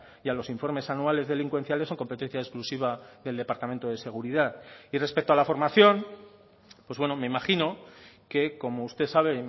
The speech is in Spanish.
y a los informes anuales delincuenciales son competencia exclusiva del departamento de seguridad y respecto a la formación pues bueno me imagino que como usted sabe